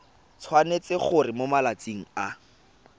tshwanetse gore mo malatsing a